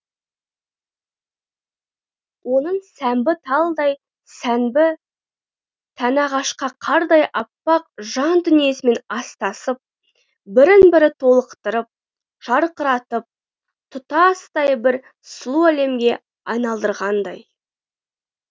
оның сәмбі талдай сәнбі тәні ақша қардай аппақ жан дүниесімен астасып бірін бірі толықтырып жарқыратып тұтастай бір сұлу әлемге айналдырғандай